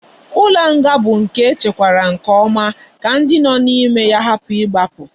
Ulo nga bu nke echekwara nke oma ka ndi no na ime nga hapu igbapu